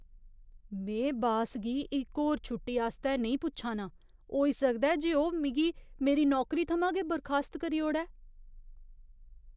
में बास गी इक होर छुट्टी आस्तै नेईं पुच्छा नां। होई सकदा ऐ जे ओह् मिगी मेरी नौकरी थमां गै बरखास्त करी ओड़ै।